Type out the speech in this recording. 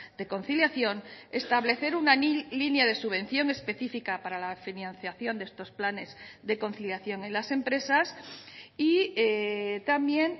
de conciliación establecer una línea de subvención específica para la financiación de estos planes de conciliación en las empresas y también